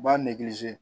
U b'a nege se